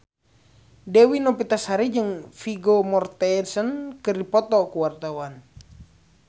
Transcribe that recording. Dewi Novitasari jeung Vigo Mortensen keur dipoto ku wartawan